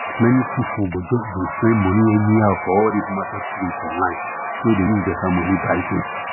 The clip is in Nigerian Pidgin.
many people go just dey spend money anyhow for all this marketplace online wey dey use better money buy things